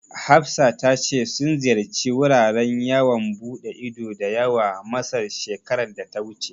Hafsa ta ce sun ziyarci wuraren yawan buɗe ido da yawa Masar, shekarar da ta wuce.